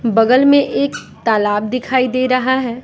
बगल में एक तालाब दिखाई दे रहा है।